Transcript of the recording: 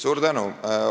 Suur tänu!